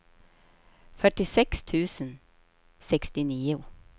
fyrtiosex tusen sextionio